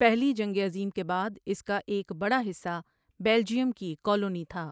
پہلی جنگ عظیم کے بعد اس کا ایک بڑا حصہ بیلجیئم کی کالونی تھا